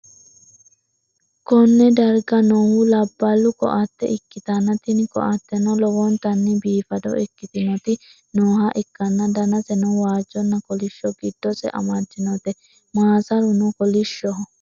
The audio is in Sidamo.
konne darga noohu labballu ko'atte ikkitanna, tini ko'atteno lowontanni biifado ikkitinoti nooha ikkanna, danaseno waajjonna kolishsho giddose amaddinote, maasaruno kolishshoho.